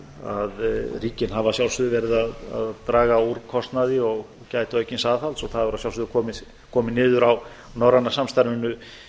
að ríkin hafa að sjálfsögðu verið að draga úr kostnaði og gæta aukins aðhalds og það hefur að sjálfsögðu komið niður á norræna samstarfinu